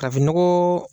Kafoɲɔgɔn